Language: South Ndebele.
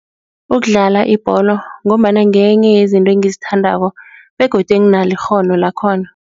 Ukudlala ibholo ngombana ngenye yezinto engizithandako begodu enginalo ikghono lakhona.